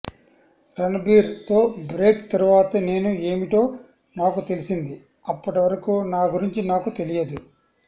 రణబీర్ తో బ్రేక్ తరువాత నేను ఏమిటో నాకు తెలిసింది అప్పటివరకు నా గురుంచి నాకు తెలియదు